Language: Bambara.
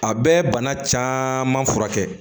A bɛ bana caman furakɛ